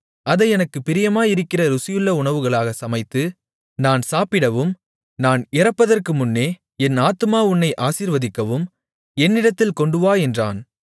அதை எனக்குப் பிரியமாயிருக்கிற ருசியுள்ள உணவுகளாகச் சமைத்து நான் சாப்பிடவும் நான் இறப்பதற்குமுன்னே என் ஆத்துமா உன்னை ஆசீர்வதிக்கவும் என்னிடத்தில் கொண்டுவா என்றான்